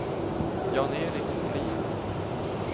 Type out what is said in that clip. Jan-Erik Bolin